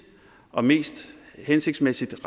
og mest hensigtsmæssigt